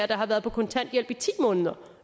der har været på kontanthjælp i ti måneder